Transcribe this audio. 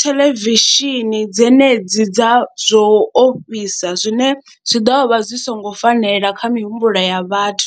theḽevishini dzenedzi dza zwo ofhisa zwine zwi ḓo vha zwi songo fanela kha mihumbulo ya vhathu.